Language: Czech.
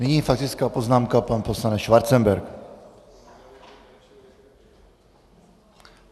Nyní faktická poznámka, pan poslanec Schwarzenberg.